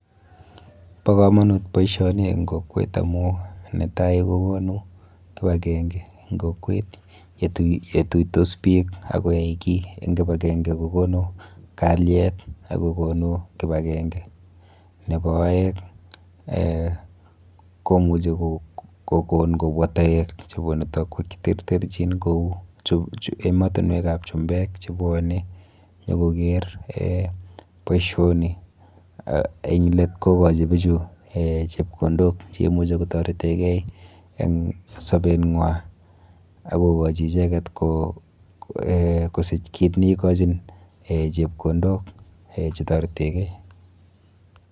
Bo komonut boisioni eng kokwet amu netai kokonu kipakenke eng kokwet yetuitos biik akoyai ki eng kipakenke kokonu kalyet ak kokonu kipakenke. Nepo aeng eh komuchi kokon kobwa toek chebunu tokwek cheterterchin kou ematunwekap chumbek chebwone nyokoker eh boisioni eng let kokochi bichu eh chepkondok cheimuchi kotoreteke eng sobeng'wa akokochi icheket kosich kit neikochin eh chepkondok eh chetoreteke.